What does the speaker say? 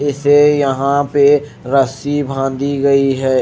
इसे यहां पे रस्सी बांधी गई है।